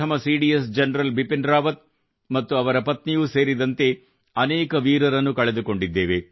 CDS general Bipin Rawat ಮತ್ತು ಅವರ ಪತ್ನಿಯೂ ಸೇರಿದಂತೆ ಅನೇಕ ವೀರರನ್ನು ಕಳೆದುಕೊಂಡಿದ್ದೇವೆ